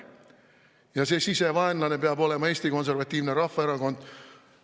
Ja see sisevaenlane peab olema Eesti Konservatiivne Rahvaerakond.